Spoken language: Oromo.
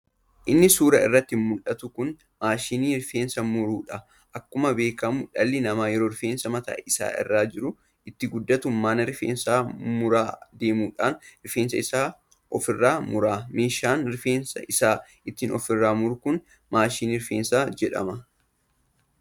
Inni suuraa irratti muldhatu kun maashinii rifeensa muruudha. Akkuma beekkamu dhalli namaa yoo rifeensi mataa isaa irra jiru itti guddate mana rifeensa muraa deemuudhaan rifeensa isaa ofirraa mura. meeshaan rifeensa isaa ittiin ofirraa muru kun maashinii rifeensaa jedhama.